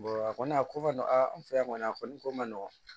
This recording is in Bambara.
a kɔni a ko ka nɔgɔ a an fɛ yan kɔni a kɔni ko man nɔgɔn